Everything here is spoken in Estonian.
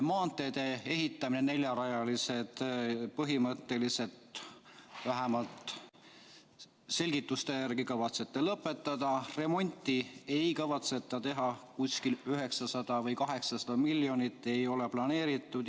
Neljarajaliste maanteede ehitamise põhimõtteliselt, vähemalt selgituste järgi otsustades, kavatsete lõpetada, remonti ei kavatse teha, kuskil 900 või 800 miljonit on selleks planeerimata.